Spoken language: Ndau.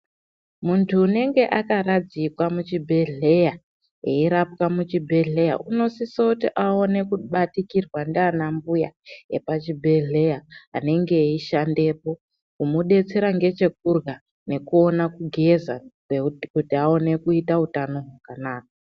Muntu unenge akaradzikwa muchibhehleya erapwa muchibhehleya unosise kuti aone kubatikirwa ndana mbuya epachibhehleya anenge eishandepo kumudetsera ngechekurwa nekuona kugeza kuaone kutia utano hwakanaka